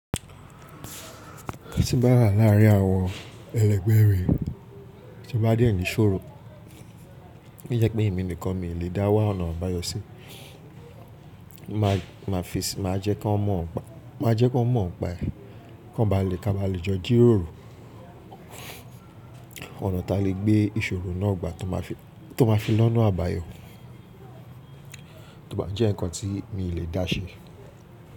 Tí bá rà láàárín àwọn ẹlẹgbẹ́ rẹ̀ tí o bá dé ẹnìṣọ́rò, ó jẹ́ pé èmi nìkan mi ì lè dá wá ọ̀nà àbáyọ sí. Mà á jẹ́ kọ n ọ mọ̀ npa ẹ, kí a ba lè jọ jíròrò ọ̀nà ta lè gbé ìṣòrò náà gbà tó ma fi lọ́na àbáyo, tò bá jẹ́ nǹkan tí mi ì lè dá ṣe.